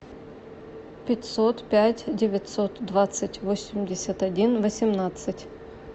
пятьсот пять девятьсот двадцать восемьдесят один восемнадцать